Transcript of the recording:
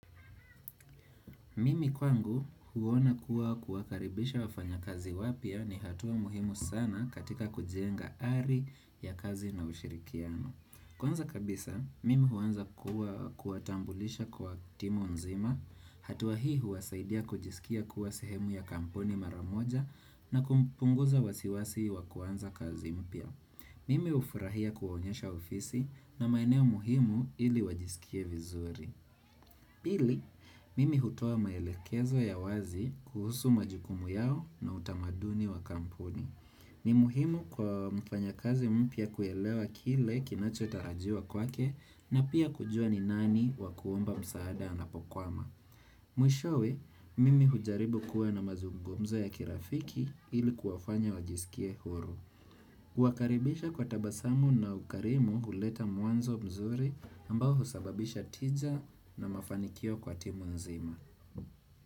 Mimi kwangu huona kuwa kuwakaribisha wafanya kazi wapya ni hatua muhimu sana katika kujenga ari ya kazi na ushirikiano. Kwanza kabisa, mimi huanza kuwatambulisha kwa timu nzima, hatua hii huwasaidia kujisikia kuwa sehemu ya kampuni maramoja na kumpunguza wasiwasi wakuanza kazi mpya. Mimi ufurahia kuwaonyesha ofisi na maeneo muhimu ili wajisikie vizuri. Pili, mimi hutoa maelekezo ya wazi kuhusu majukumu yao na utamaduni wa kampuni. Ni muhimu kwa mfanya kazi mpya kuelewa kile kinacho tarajiwa kwake na pia kujua ni nani wa kuomba msaada ana pokwama. Mwishowe, mimi hujaribu kuwa na mazugumzo ya kirafiki ili kuwafanya wajisikie huru. Huwakaribisha kwa tabasamu na ukarimu huleta mwanzo mzuri ambao husababisha tija na mafanikio kwa timu nzima.